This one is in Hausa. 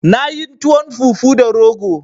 Na yin tuwon fufu da rogo